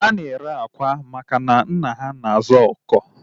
Ha na-ere akwa maka na nna ya na-azụ ọkụkọ